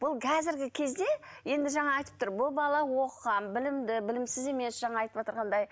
бұл қазіргі кезде енді жаңа айтып тұр бұл бала оқыған білімді білімсіз емес жаңа айтып отырғандай